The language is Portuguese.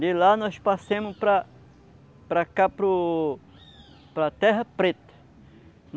De lá nós passemos para para cá, para o... para a terra preta.